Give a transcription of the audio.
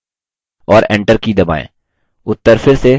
और enter की दबाएँ